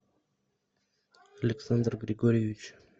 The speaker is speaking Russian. александр григорьевич